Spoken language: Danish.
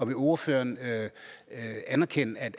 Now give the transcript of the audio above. vil ordføreren anerkende at